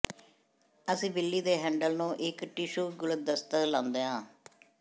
ਅਸੀਂ ਬਿੱਲੀ ਦੇ ਹੈਂਡਲ ਨੂੰ ਇੱਕ ਟਿਸ਼ੂ ਗੁਲਦਸਤਾ ਲਾਉਂਦੇ ਹਾਂ